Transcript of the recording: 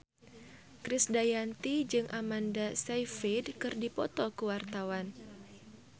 Krisdayanti jeung Amanda Sayfried keur dipoto ku wartawan